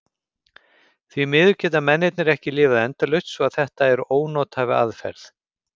Því miður geta mennirnir ekki lifað endalaust svo að þetta er ónothæf aðferð.